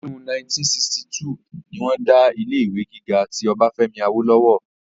ọdún 1962 ni wọ́n dá ilé ìwé gíga ti ọbáfẹ́mi awólọ́wọ̀